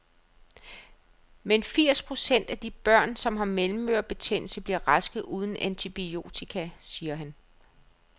Men firs procent af de børn, som har mellemørebetændelse, bliver raske uden antibiotika, siger han.